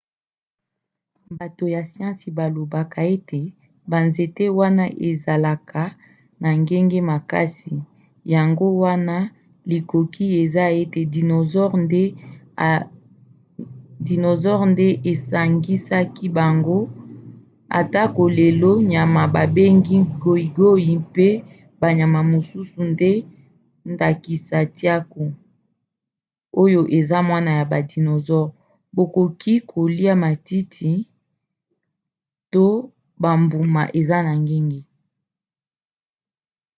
bato ya siansi balobaka ete banzete wana ezalaka na ngenge makasi yango wana likoki eza te ete dinosaure nde esangisaki bango atako lelo nyama babengi goigoi mpe banyama mosusu na ndakisa tiaku oyo eza mwana ya ba dinosaures bakoki kolia matiti to bambuma eza na ngenge